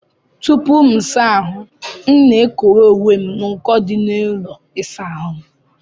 Tupuu M saa ahụ, M na-ekowe uwe m n'uko dị n'ụlọ ịsa ahụ m.